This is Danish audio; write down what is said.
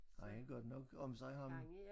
Han er godt nok om sig ham